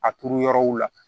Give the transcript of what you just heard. A turu yɔrɔw la